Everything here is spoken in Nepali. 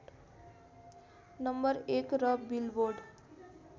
नं १ र बिलबोर्ड